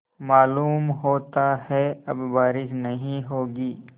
मालूम होता है अब बारिश नहीं होगी